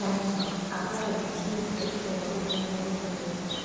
хорошо а как объяснить то что вокруг меня бегали